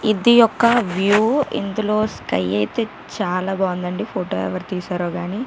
ఇది ఒక వ్యూ ఇందులో స్కై అయితే చాలా బాగుందండి ఫోటో ఎవరు తీశారో గాని.